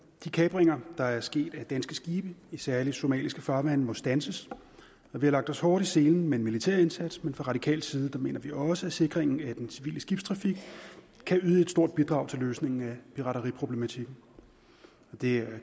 de kapringer der er sket af danske skibe i særlig somaliske farvande må standses vi har lagt os hårdt i selen med en militær indsats men fra de radikales side mener vi også at sikringen af den civile skibstrafik kan yde et stort bidrag til løsningen af pirateriproblematikken det er